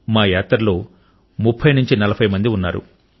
మా యాత్రలో 3040 మంది ఉన్నారు